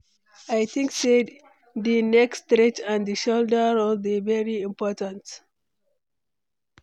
I think say di neck stretch and di shoulder roll dey very important.